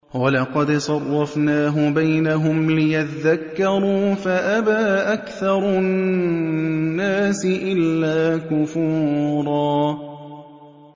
وَلَقَدْ صَرَّفْنَاهُ بَيْنَهُمْ لِيَذَّكَّرُوا فَأَبَىٰ أَكْثَرُ النَّاسِ إِلَّا كُفُورًا